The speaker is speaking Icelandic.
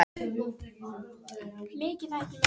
Náttsól, spilaðu lagið „Flæði“.